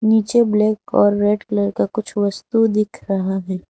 नीचे ब्लैक और red colour का कुछ वस्तु दिख रहा है।